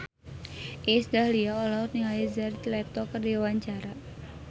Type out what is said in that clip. Iis Dahlia olohok ningali Jared Leto keur diwawancara